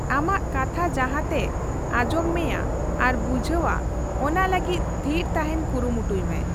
ᱟᱢᱟᱜ ᱠᱟᱛᱷᱟ ᱡᱟᱦᱟᱛᱮ ᱟᱧᱡᱚᱢ ᱢᱮᱭᱟ ᱟᱨ ᱵᱩᱷᱟᱹᱭᱟ, ᱚᱱᱟ ᱞᱟᱹᱜᱤᱫ ᱛᱷᱤᱨ ᱛᱟᱦᱮᱱ ᱠᱩᱨᱩᱢᱩᱴᱩᱭ ᱢᱮ᱾